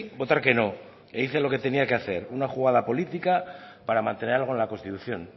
votar que no he hice lo que tenía que hacer una jugada política para mantener algo en la constitución